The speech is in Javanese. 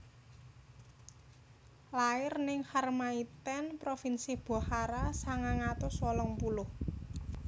Lair ning Kharmaithen provinsi Bokhara sangang atus wolung puluh